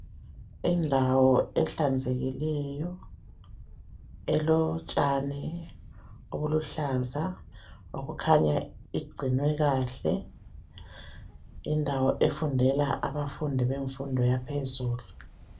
Indawo ehlanzekileyo. Elotshani obuluhlaza. Okukhanya igcinwe kahle. Indawo efundela abafundi, bemfundo yaphezulu.